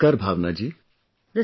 Namaskaar Bhavana ji